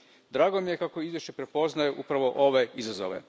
Drago mi je da izvješće prepoznaje upravo ove izazove.